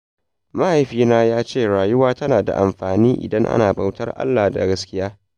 Mahaifina ya ce rayuwa tana da amfani idan ana bautar Allah da gaskiya.